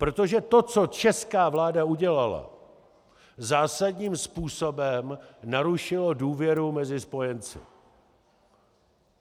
Protože to, co česká vláda udělala, zásadním způsobem narušilo důvěru mezi spojenci.